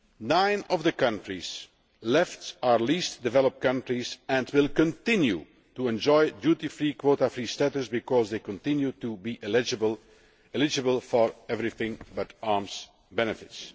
Nine of the countries left are least developed countries and will continue to enjoy duty free, quota free status because they continue to be eligible for everything but arms' benefits.